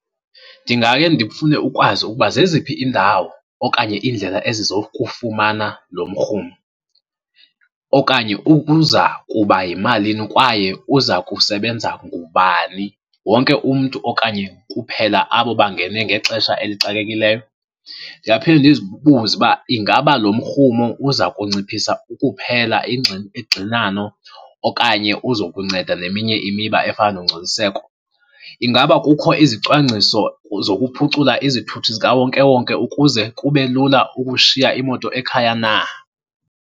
Ndingake ndifune ukwazi ukuba zeziphi iindawo okanye iindlela ezizokufumana lo mrhumo. Okanye ubuza kuba yimalini kwaye uza kusebenza ngubani, wonke umntu okanye kuphela abo bangene ngexesha elixakekileyo? Ndingaphinde ndizibuze uba ingaba lo mrhumo uza kunciphisa ukuphela ingxinano okanye uzokunceda neminye imiba efana nongcoliseko. Ingaba kukho izicwangciso zokuphucula izithuthi zikawonkewonke ukuze kube lula ukushiya imoto ekhaya na?